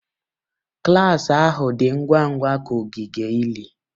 Klas ahụ dị ngwa ngwa ka ogige ili.